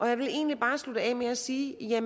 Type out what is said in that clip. jeg vil egentlig bare slutte af med at sige at